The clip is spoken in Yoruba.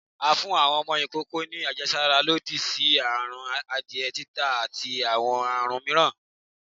à fún awọn ọmọ ìkókó ni àjẹsára lòdì sí àrùn adiẹ, títà, ati awọn àrún mìíràn